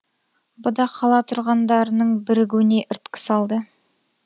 бұ да қала тұрғындарының бірігуіне ірткі салды